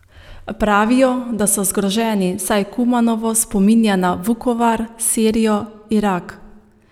Pravijo, da so zgroženi, saj Kumanovo spominja na Vukovar, Sirijo, Irak.